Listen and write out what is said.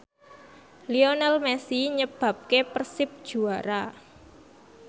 Lionel Messi nyebabke Persib juara